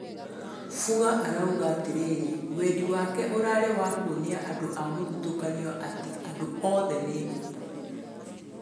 Fuga arauga atĩriri wendi wake ũrarĩ wa kũonia andũ a mũthutũkanio atĩ "andũ othe ni nũgũ."